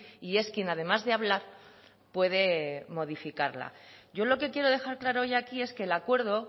y es quien además de hablar puede modificarla yo lo que quiero dejar claro hoy aquí es que el acuerdo